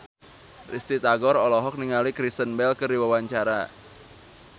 Risty Tagor olohok ningali Kristen Bell keur diwawancara